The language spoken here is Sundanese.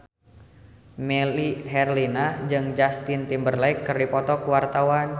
Melly Herlina jeung Justin Timberlake keur dipoto ku wartawan